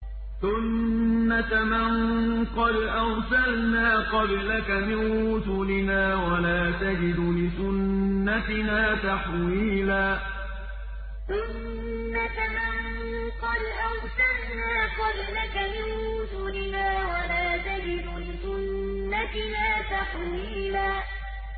سُنَّةَ مَن قَدْ أَرْسَلْنَا قَبْلَكَ مِن رُّسُلِنَا ۖ وَلَا تَجِدُ لِسُنَّتِنَا تَحْوِيلًا سُنَّةَ مَن قَدْ أَرْسَلْنَا قَبْلَكَ مِن رُّسُلِنَا ۖ وَلَا تَجِدُ لِسُنَّتِنَا تَحْوِيلًا